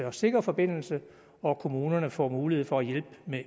og sikker forbindelse og at kommunerne får mulighed for at hjælpe